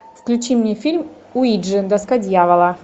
включи мне фильм уиджи доска дьявола